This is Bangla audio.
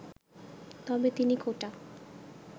তবে তিনি কোটা